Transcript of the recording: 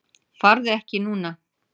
Farðu ekki núna!